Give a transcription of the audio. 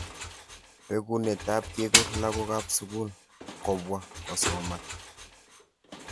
Bekunet ab kekur lakok ab sukul kobwa kosoman.